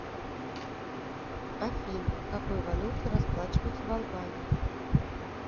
афина какой валютой расплачиваются в албании